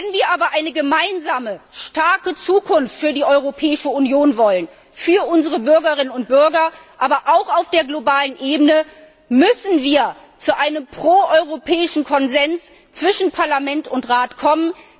Wenn wir aber eine gemeinsame, starke Zukunft für die Europäische Union, für unsere Bürgerinnen und Bürger, aber auch auf der globalen Ebene wollen, müssen wir zu einem pro europäischen Konsens zwischen Parlament und Rat kommen.